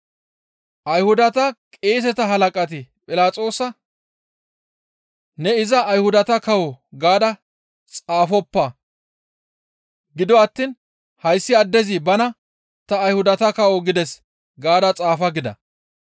Ayhudata qeeseta halaqati Philaxoosa, «Ne iza Ayhudata kawo» gaada xaafoppa. Gido attiin, « ‹Hayssi addezi bana ta Ayhudata kawo› gides gaada xaafa» gida.